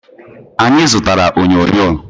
Anyị zụtala onyonyo